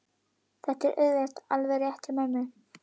Þetta er auðvitað alveg rétt hjá mömmu.